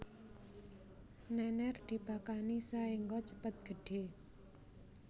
Nènèr dipakani saéngga cepet gedhé